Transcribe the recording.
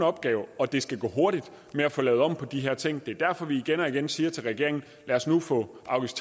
opgave og det skal gå hurtigt med at få lavet om på de her ting det er derfor vi igen og igen siger til regeringen lad os nu få afgifts